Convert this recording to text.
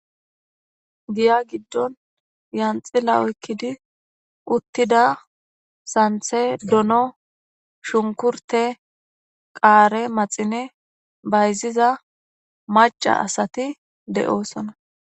giya giddon yanxila oykkidi uttida santhe dono shunkurte qaare maxine bayziza maca asati de7oosona